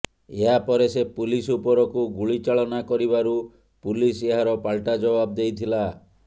ଏହାପରେ ସେ ପୁଲିସ୍ ଉପରକୁ ଗୁଳିଚାଳନା କରିବାରୁ ପୁଲିସ୍ ଏହାର ପାଲଟା ଜବାବ ଦେଇଥିଲା